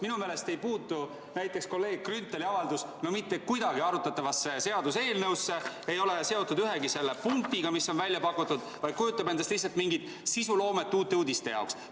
Minu meelest ei puutu näiteks kolleeg Grünthali avaldus mitte kuidagi arutatavasse seaduseelnõusse, ei ole seotud ühegi selle punktiga, mis on välja pakutud, vaid kujutab endast lihtsalt mingit sisuloomet Uute Uudiste jaoks.